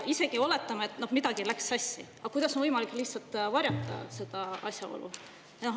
Oletame, et midagi läks sassi, aga kuidas on võimalik lihtsalt varjata seda asjaolu?